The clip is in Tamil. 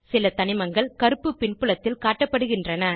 சில தனிமங்கள் கருப்பு பின்புலத்தில் காட்டப்படுகின்றன